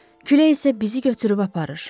Külək isə bizi götürüb aparır.